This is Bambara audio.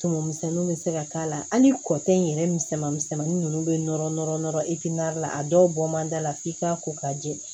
Tumumisɛnninw be se ka k'a la hali kɔtɛ yɛrɛ misɛnman misɛnmanin nunnu bɛ nɔrɔ nɔrɔ nɔrɔ i fenin la a dɔw bɔ man d'a la f'i k'a ko k'a jɛ